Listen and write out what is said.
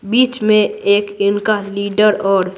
बीच में एक इनका लीडर और--